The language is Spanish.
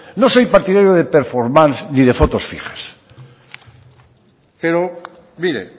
no soy partidario de performance ni de fotos fijas pero mire